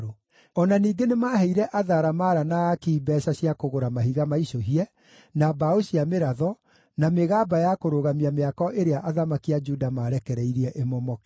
O na ningĩ nĩmaheire atharamara na aaki mbeeca cia kũgũra mahiga maicũhie, na mbaũ cia mĩratho, na mĩgamba ya kũrũgamia mĩako ĩrĩa athamaki a Juda maarekereirie ĩmomoke.